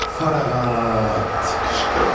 Farağat qışqırdı.